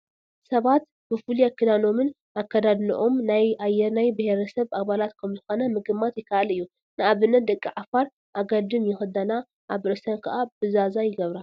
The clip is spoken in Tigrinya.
ሰባት ብፍሉይ ክዳኖምን ኣከዳድንኦም ናይ ኣየናይ ብሄረሰብ ኣባላት ከምዝኾነ ምግማት ይከኣል እዩ፡፡ ንኣብነት ደቂ ዓፋር ኣገልድም ይኽደና ኣብ ርእሰን ከዓ ብዛዛ ይገብራ፡፡